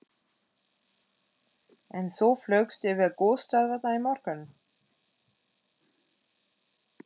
En svo flaugstu yfir gosstöðvarnar í morgun?